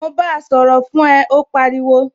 Mo báa sọ̀rọ̀ fún ẹ, ó pariwo